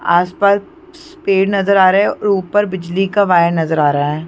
आस-पास पेड़ नज़र आ रहे हैं और ऊपर बिजली का वायर नज़र आ रहा है।